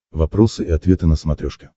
вопросы и ответы на смотрешке